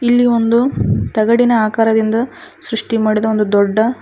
ಇಲ್ಲಿ ಒಂದು ತಗಡಿನ ಆಕಾರದಿಂದ ಸೃಷ್ಟಿ ಮಾಡಿದ ಒಂದು ದೊಡ್ಡ--